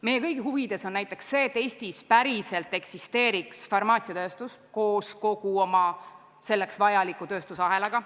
Meie kõigi huvides on näiteks see, et Eestis päriselt eksisteeriks farmaatsiatööstus koos selle juurde kuuluva tööstusahelaga.